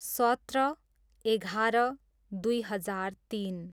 सत्र, एघार, दुई हजार तिन